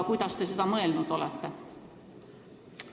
Kuidas te seda mõelnud olete?